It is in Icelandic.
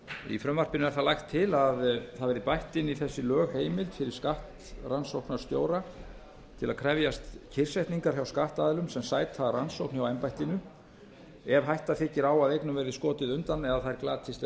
í frumvarpinu er það lagt til að það verði bætt við inn í þessi lög heimild fyrir skattrannsóknarstjóra til að krefjast kyrrsetningar hjá skattaðilum sem sæta rannsókn hjá embættinu ef hætta þykir á að eignum verði skotið undan eða þær glatist